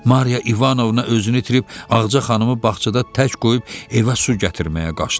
Mariya İvanovna özünü itirib Ağca xanımı bağçada tək qoyub evə su gətirməyə qaçdı.